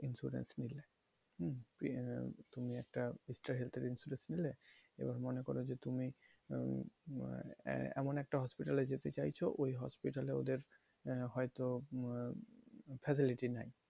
insurance নিলে হুম? তুমি একটা extra health এর insurance নিলে এবার মনে করো যে তুমি উম আহ এমন একটা hospital এ যেতে চাইছো ওই hospital এ ওদের আহ হয়তো facility নাই।